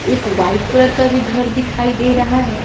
एक white colour का भी घर दिखाई दे रहा है।